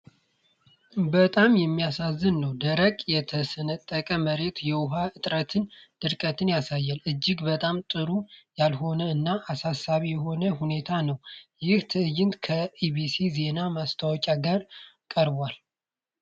በጣም የሚያሳዝን ነው! ደረቅ፣ የተሰነጠቀ መሬት የውሃ እጥረትንና ድርቅን ያሳያል። እጅግ በጣም ጥሩ ያልሆነ እና አሳሳቢ የሆነ ሁኔታ ነው! ይህ ትዕይንት ከ ኢቢሲ ዜና ማስታወቂያ ጋር ቀርቧል።